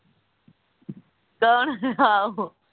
ਕੋਣ ਆਹੋ